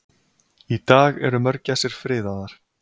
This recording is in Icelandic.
í dag eru mörgæsir friðaðar